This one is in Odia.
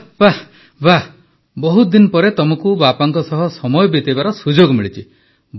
ବାଃ ବାଃ ବାଃ ବହୁତ ଦିନ ପରେ ତମକୁ ବାପାଙ୍କ ସହ ସମୟ ବିତାଇବାର ସୁଯୋଗ ମିଳିଛି